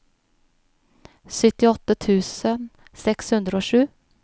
syttiåtte tusen seks hundre og sju